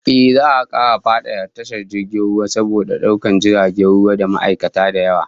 Ehh, za'a kara fadada tashar jirgin ruwan, saboda daukar jiragen ruwa da ma'aikata da yawa